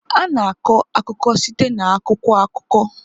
A na-akọ akụkọ site na akwụkwọ akụkọ.